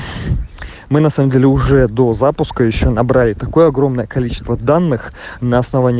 мы на самом деле уже до запуска ещё набрали такое огромное количество данных на основании